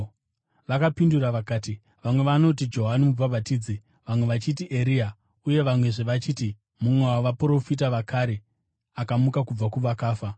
Vakapindura vakati, “Vamwe vanoti Johani Mubhabhatidzi, vamwe vachiti Eria, uye vamwezve vachiti, mumwe wavaprofita vakare akamuka kubva kuvakafa.”